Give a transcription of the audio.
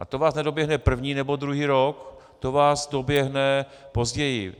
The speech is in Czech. A to vás nedoběhne první nebo druhý rok, to vás doběhne později.